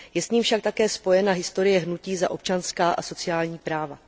Je s ním však také spojena historie hnutí za občanská a sociální práva.